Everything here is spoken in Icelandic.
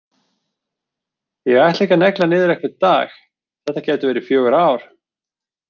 Ég ætla ekki að negla niður einhvern dag, þetta gætu verið fjögur ár.